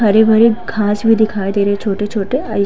हरे भरे घास भी दिखाई दे रहे हैं छोटे छोटे और --